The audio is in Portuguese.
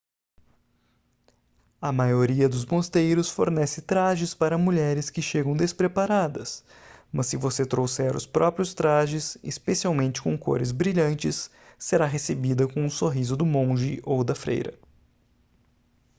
a maioria dos mosteiros fornece trajes para mulheres que chegam despreparadas mas se você trouxer os próprios trajes especialmente com cores brilhantes será recebida com um sorriso do monge ou da freira